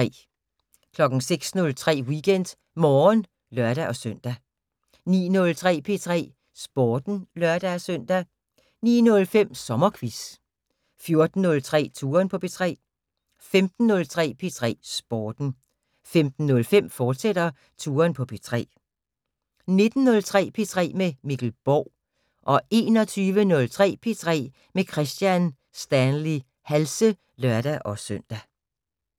06:03: WeekendMorgen (lør-søn) 09:03: P3 Sporten (lør-søn) 09:05: SommerQuiz 14:03: Touren på P3 15:03: P3 Sporten 15:05: Touren på P3, fortsat 19:03: P3 med Mikkel Borg 21:03: P3 med Kristian Stanley Halse (lør-søn)